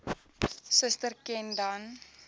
suster ken dan